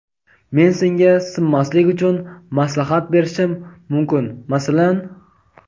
men senga sinmaslik uchun maslahat berishim mumkin masalan.